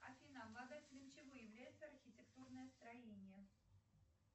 афина обладателем чего является архитектурное строение